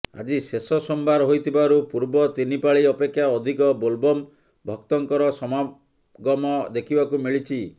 ଆଜି ଶେଷ ସୋମବାର ହୋଇଥିବାରୁ ପୂର୍ବ ତିନି ପାଳି ଅପେକ୍ଷା ଅଧିକ ବୋଲବମ୍ ଭକ୍ତଙ୍କର ସମାଗମ ଦେଖିବାକୁ ମିଳିଛି